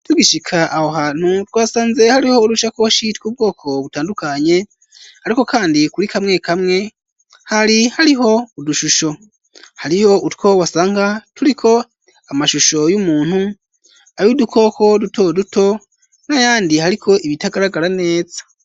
Tugishika aho hantu twasanze hariho udushakoshi tw'ubwoko butandukanye ariko kandi kuri kamwe kamwe hari hariho udushusho hariho utwo wasanga turiko amashusho y'umuntu ayu dukoko duto duto n'ayandi hariko ibitagaragara neza.